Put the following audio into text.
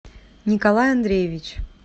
николай андреевич